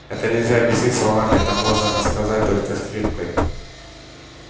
это нельзя объяснить словами это можно рассказать только скрипкой